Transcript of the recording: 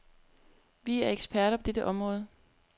Vi er eksperter på dette område.